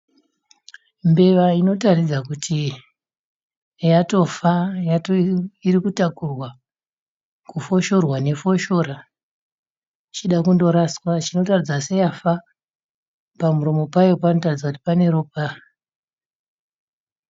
Mbeva inotaridza kuti yatofa iritakurwa kufoshorwa nefoshora .ichida kundorashwa. Irikuratidza kuti yatofa pamuromo payo pane ropa.